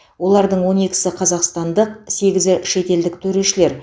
олардың он екісі қазақстандық сегізі шетелдік төрешілер